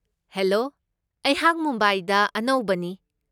Hello, ꯑꯩꯍꯥꯛ ꯃꯨꯝꯕꯥꯏꯗ ꯑꯅꯧꯕꯅꯤ ꯫